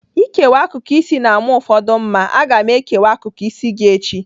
Ịkewa akụkụ isi na-ama ụfọdụ mma. Aga m ekewa akụkụ isi gị echi.